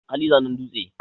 hali zanen dutse